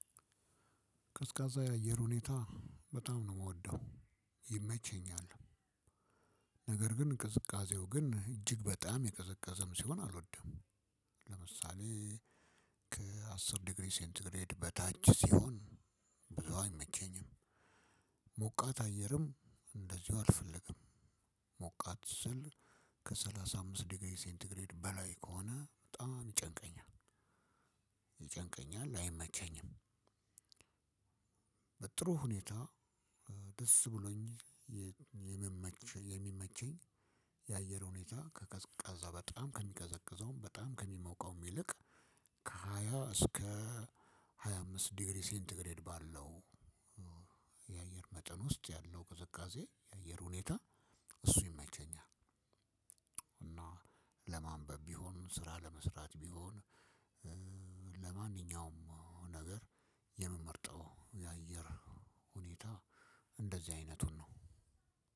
ቀዝቃዛ የአየር ሁኔታ በጣም ነው የምወደው ይመቸኛል። ነገር ግን ቅዝቃዜው ግን እጅግ በጣም የቀዘቀዘም ሲሆን አልወድም። ለምሳሌ ዲግሪ ሴንትግሬድ በታች ሲሆን ብዙ አይመቸኝም። ሞቃት አየርም እንደዚሁ አልፈልግም። ሞቃት ስል ከሰላሳ አምስት ዲግሪ ሴንቲግሬድ በላይ ከሆነ በጣም ይጨንቀኛል ይጨንቀኛል አይመቸኝም። በጥሩ ሁኔታ ደስ ብሎኝ የምመኝ የሚመቸኝ የአየር ሁኔታ ከቀዝቃዛ በጣም ከሚቀዘቅዘውም በጣም ከሚሞቀውም ይልቅ ከሃያ እስከ ሃያ አምስት ዲግሪ ሴንትግሬድ ባለው የአየር መጠን ውስጥ ያለው ቅዝቃዜ የአየር ሁኔታ እሱ ይመቸኛል። እና ለማንበብ ቢሆን ስራ ለመስራት ቢሆን ለማንኛውም ነገር የምመርጠው የአየር ሁኔታ እንደዚህ አይነቱን ነው።